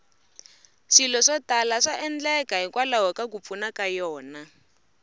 swilo swo tala swa endleka hikwalaho ka ku pfuna ka yona